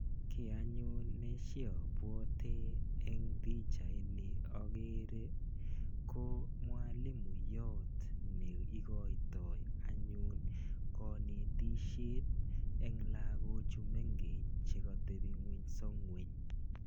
Kiy anyun neshabwoti eng pichait ni akere, ko mwalimuiyot ne ikoitoi anyun kanetisiet eng lagok chu mengech, che katebing'unyso ng'uny.